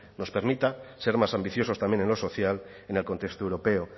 nos permita ser más ambiciosos también en lo social en el contexto europeo